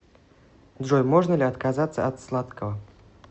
джой можно ли отказаться от сладкого